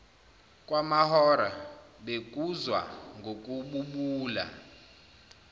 kwamahora bekuzwa ngokububula